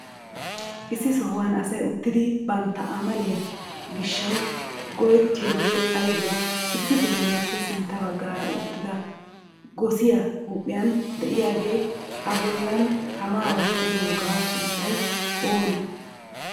issi sohuwan asay uttidi banttaa amaaliya gishshawu go7etiyogee aybee? issi bitaaniyppe sintta baggara uttidaa goosiyaa huphiyan de7iyaagee a bollan tammaa wotiyogaa sunttay onee?